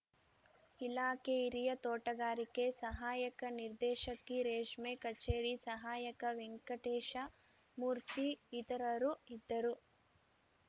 ಇಲಾಖೆ ಹಿರಿಯ ತೋಟಗಾರಿಕೆ ಸಹಾಯಕ ನಿರ್ದೇಶಕಿ ರೇಷ್ಮೆ ಕಚೇರಿ ಸಹಾಯಕ ವೆಂಕಟೇಶ ಮೂರ್ತಿ ಇತರರು ಇದ್ದರು